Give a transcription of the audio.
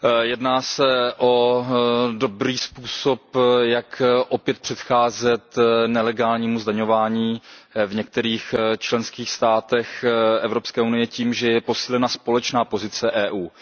Jedná se o dobrý způsob, jak opět předcházet nelegálnímu zdaňování v některých členských státech Evropské unie tím, že je posílena společná pozice EU.